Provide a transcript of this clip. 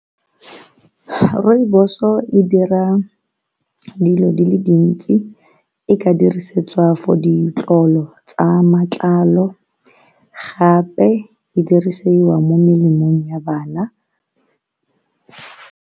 Rooibos-o e dira dilo dile dintsi, e ka dirisetswa for ditlolo tsa matlalo gape e dirisiwa mo melemong ya bana.